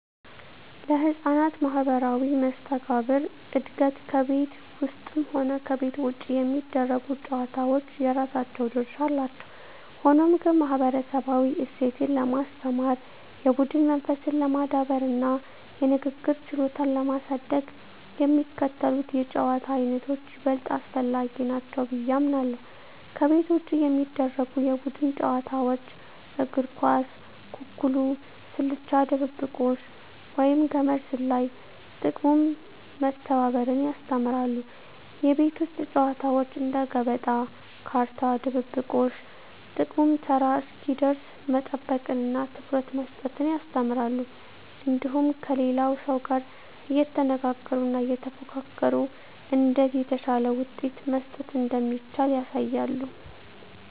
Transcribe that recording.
ለሕፃናት ማኅበራዊ መስተጋብር እድገት ከቤት ውስጥም ሆነ ከቤት ውጭ የሚደረጉ ጨዋታዎች የራሳቸው ድርሻ አላቸው። ሆኖም ግን፣ ማኅበረሰባዊ እሴትን ለማስተማር፣ የቡድን መንፈስን ለማዳበርና የንግግር ችሎታን ለማሳደግ የሚከተሉት የጨዋታ ዓይነቶች ይበልጥ አስፈላጊ ናቸው ብዬ አምናለሁ፦ ከቤት ውጭ የሚደረጉ የቡድን ጨዋታዎች እግር ኳስ፣ ኩኩሉ፣ ስልቻ ድብብቆሽ፣ ወይም ገመድ ዝላይ። ጥቅሙም መተባበርን ያስተምራሉ። የቤት ውስጥ ጨዋታዎች እንደ ገበጣ፣ ካርታ፣ ድብብቆሽ… ጥቅሙም ተራ እስኪደርስ መጠበቅንና ትኩረት መስጠትን ያስተምራሉ። እንዲሁም ከሌላው ሰው ጋር እየተነጋገሩና እየተፎካከሩ እንዴት የተሻለ ውሳኔ መስጠት እንደሚቻል ያሳያሉ።